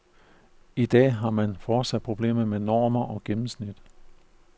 I dag har man fortsat problemer med normer og gennemsnit.